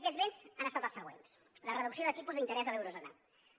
aquests vents han estat els següents la reducció de tipus d’interès de l’eurozona